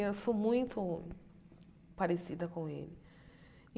Eu sou muito parecida com ele.